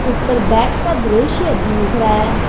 उस पर बैग का दृश्य दिख रहा है।